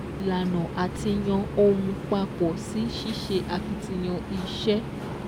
Ìlànà àti yàn ohun papọ̀ sí ṣíṣe akitiyan iṣẹ́